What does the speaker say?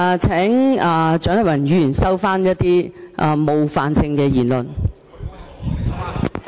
請蔣麗芸議員收回一些冒犯性言詞。